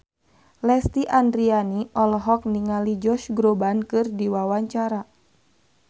Lesti Andryani olohok ningali Josh Groban keur diwawancara